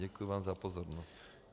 Děkuji vám za pozornost.